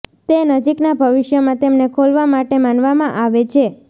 તે નજીકના ભવિષ્યમાં તેમને ખોલવા માટે માનવામાં આવે છે